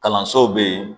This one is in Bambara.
Kalansow be yen